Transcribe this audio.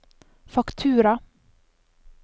faktura